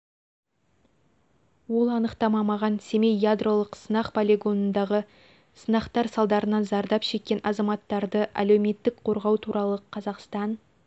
ол анықтама маған семей ядролық сынақ полигонындағы сынақтар салдарынан зардап шеккен азаматтарды әлеуметтік қорғау туралы қазақстан